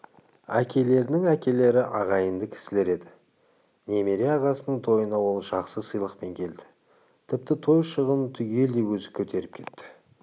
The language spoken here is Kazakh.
әкелерінің әкелері ағайынды кісілер еді немере ағасының тойына ол жақсы сыйлықпен келді тіпті той шығынын түгелдей өзі көтеріп кетті